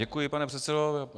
Děkuji, pane předsedo.